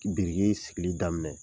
Biriki sigili daminɛ.